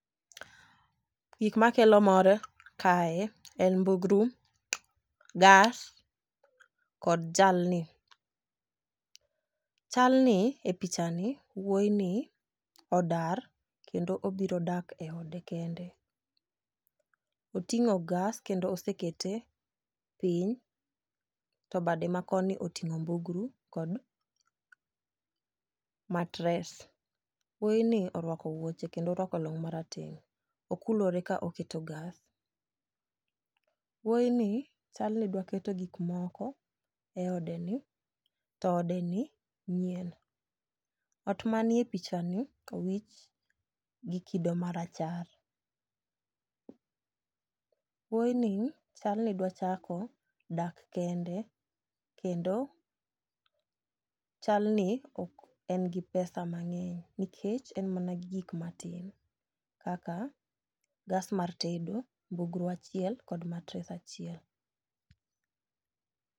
Gik makelo mor kae en mbugru, gas kod jalni. Chalni e picha ni wuoyi ni odar kendo obiro dak e ode kende. Oting'o gas kendo osekete piny to bade ma koni oting'o mbugru kod matres. Wuoyi ni orwako wuoche kendo orwako long' marateng okulore ka oketo gas . Wuoyi ni chal ni dwa keto gik moko eode ni to odeni nyien . Ot manie picha ni owich gi kido marachar . Wuoyi ni chal ni dwa chako dak kende kendo chal ni ok en gi pesa mang'eny nikech en mana gi gik matin kaka gas mar tedo, mbugru achiel kod matres achiel.